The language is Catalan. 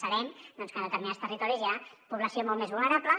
sabem doncs que en determinats territoris hi ha població molt més vulnerable